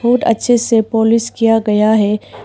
बहुत अच्छे से पालिश किया गया है।